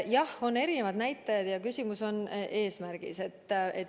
Jah, on erinevad näitajad ja küsimus on eesmärgis.